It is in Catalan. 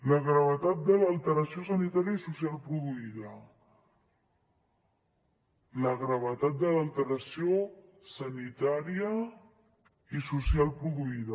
la gravetat de l’alteració sanitària i social produïda la gravetat de l’alteració sanitària i social produïda